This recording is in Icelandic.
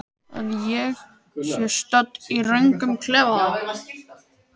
Að ég sé stödd í röngum klefa?